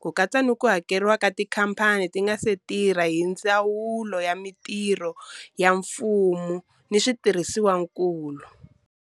ku katsa ni ku hakeriwa ka tikhamphani ti nga si tirha hi Ndzawulo ya Mitirho ya Mfumo ni Switirhisiwa nkulu.